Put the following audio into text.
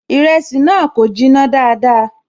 Ìrẹsì náà kò jiná dáadáa